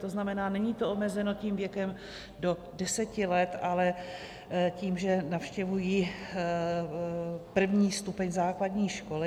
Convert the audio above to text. To znamená, není to omezeno tím věkem do 10 let, ale tím, že navštěvují první stupeň základní školy.